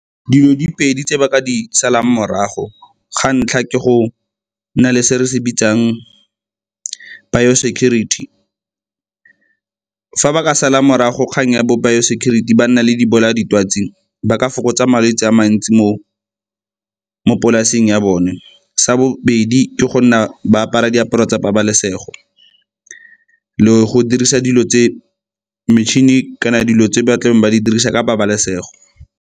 Dilo di pedi tse ba ka di salang morago, ga ntlha ke go nna le se re se bitsang biosecurity, fa ba ka sala morago kgang ya bo biosecurity ba nna le dibolaya ditwatsi ba ka fokotsa malwetse a mantsi mo polaseng ya bone. Sa bobedi ke go nna ba apara diaparo tsa pabalesego le go dirisa metšhini kana dilo tse ba tlang ba di dirisa ka pabalesego.